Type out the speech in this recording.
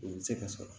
O bɛ se ka sɔrɔ